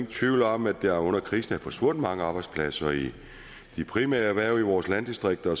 tvivl om at der under krisen er forsvundet mange arbejdspladser i de primære erhverv i vores landdistrikter